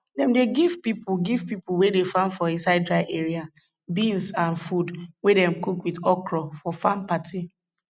dem dey give pipo give pipo wey dey farm for inside dry area beans and food wey dem cook with okro for farm party